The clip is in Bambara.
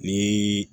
Ni